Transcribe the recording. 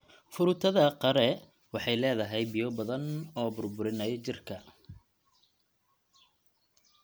Fruitada qare waxay leedahay biyo badan oo burburinaya jirka.